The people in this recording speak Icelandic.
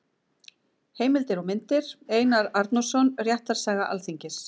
Heimildir og myndir: Einar Arnórsson: Réttarsaga Alþingis.